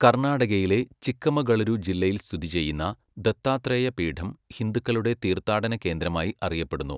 കർണാടകയിലെ ചിക്കമഗളൂരു ജില്ലയിൽ സ്ഥിതി ചെയ്യുന്ന ദത്താത്രേയ പീഠം ഹിന്ദുക്കളുടെ തീർത്ഥാടന കേന്ദ്രമായി അറിയപ്പെടുന്നു.